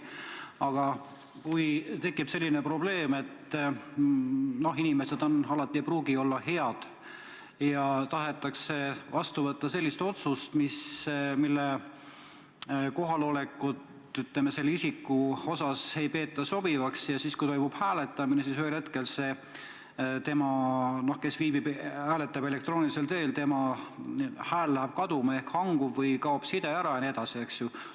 Aga kui tekib selline probleem, et – inimesed ei pruugi alati head olla – tahetakse vastu võtta sellist otsust, mille puhul teatud inimese kohalolekut ei peeta soovitavaks, ja ta viibibki eemal ja hääletab elektroonilisel teel, ent ühel hetkel tema hääl läheb kaduma –arvuti hangub või kaob side ära jne?